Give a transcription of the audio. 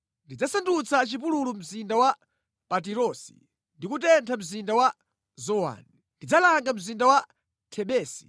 Ndidzasandutsa chipululu mzinda wa Patirosi, ndi kutentha mzinda wa Zowani. Ndidzalanga mzinda wa Thebesi.